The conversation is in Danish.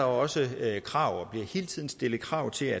også er krav og bliver hele tiden stillet krav til